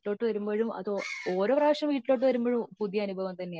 എന്റെ വീട്ടിലോട്ട് വരുമ്പോഴും ഓരോ പ്രാവശ്യം വീട്ടിലോട്ട് വരുമ്പോഴും പുതിയ അനുഭവം തന്നെയാ